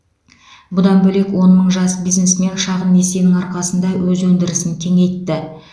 бұдан бөлек он мың жас бизнесмен шағын несиенің арқасында өз өндірісін кеңейтті